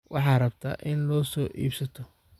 Waxaa rabta in lo'o so iibsato.